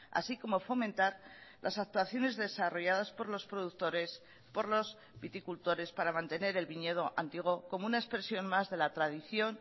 así como fomentar las actuaciones desarrolladas por los productores por los viticultores para mantener el viñedo antiguo como una expresión más de la tradición